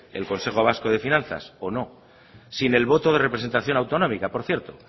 el consejo vasco de finanzas o no sin el voto de representación autonómica por cierto